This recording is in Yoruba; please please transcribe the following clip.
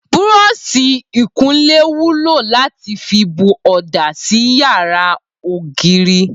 Búró̩s̩ì ìkunlé wúlò láti fi bu ò̩dà sí ara ògiri